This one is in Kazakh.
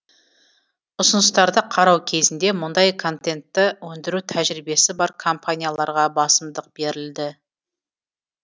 ұсыныстарды қарау кезінде мұндай контентті өндіру тәжірибесі бар компанияларға басымдық берілді